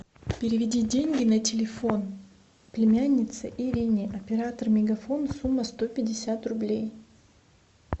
переведи деньги на телефон племяннице ирине оператор мегафон сумма сто пятьдесят рублей